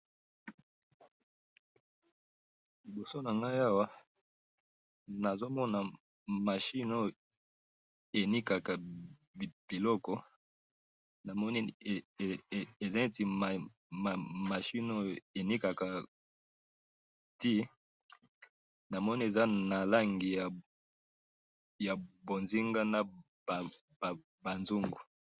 Liboso na ngai awa nazo mona machine oyo enikaka biloko, namoni eza neti machine oyo enikaka tii, namoni eza na langi ya bonzenga na ba zungu